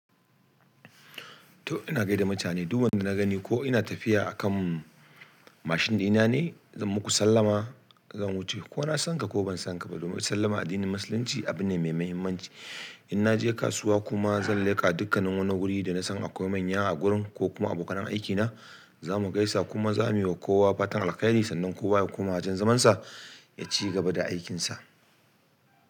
To ina gaida mutane. Duban da na gani ko ina tafiya a kan mashin dina ne, zan muku sallama, zan wuce. Ko na san ka ko ban san ka ba, domin sallama a addinin musulunci abu ne mai mahimmanci. In naje kasuwa kuma zan leƙa dukkanin wani wuri da na san akwai manya a gurin ko kuma abokan aikina, za mu gaisa kuma za mu yi wa kowa fatan alheri sannan kuwa ya kuma wajan zamansa ya ci gaba da aikinsa.